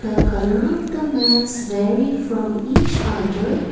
the colour of the mats very from each other.